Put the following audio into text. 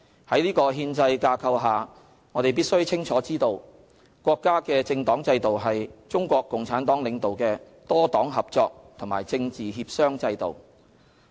在這憲制架構下，我們必須清楚知道，國家的政黨制度是中國共產黨領導的多黨合作和政治協商制度。